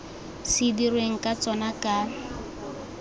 se dirweng ka tsona ka